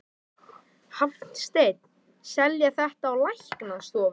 Er þetta einhver sérstök uppskrift?